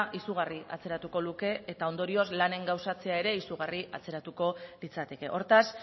izugarri atzeratuko luke eta ondorioz lanen gauzatzea ere izugarri atzeratuko litzateke hortaz